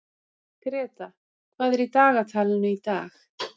Greta, hvað er í dagatalinu í dag?